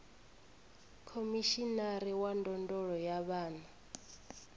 khomishinari wa ndondolo ya vhana